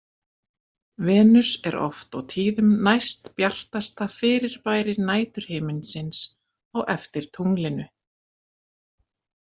Venus er oft og tíðum næstbjartasta fyrirbæri næturhiminsins á eftir tunglinu.